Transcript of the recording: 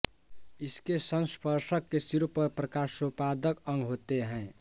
इसके संस्पर्शक के सिरे पर प्रकाशोत्पादक अंग होते हैं